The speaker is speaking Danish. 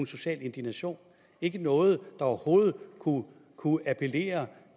social indignation ikke noget der overhovedet kunne kunne appellere